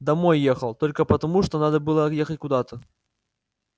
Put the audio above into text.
домой ехал только потому что надо было ехать куда-то